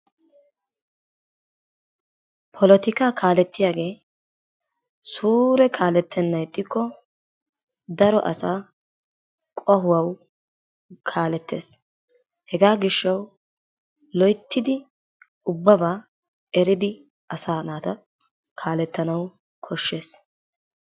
Polotikaa kaalettiyagee suure kaalettennan ixxikko daro asaa qohuwawu kaalettees. Hegaa gishshawu loyttidi ubbabaa eridi asaa naata kaalettanawu koshshees.